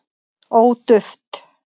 ó duft